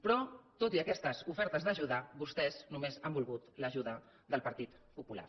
però tot i aquestes ofertes d’ajuda vostès només han volgut l’ajuda del partit popular